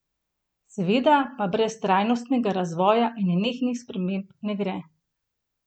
Seveda pa brez trajnostnega razvoja in nenehnih sprememb ne gre!